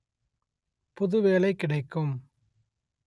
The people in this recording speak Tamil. புது வேலைக் கிடைக்கும்